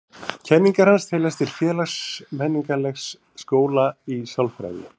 Kenningar hans teljast til félags-menningarlegs skóla í sálfræði.